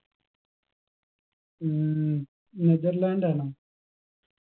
ഉം നെതർലാൻഡാണോ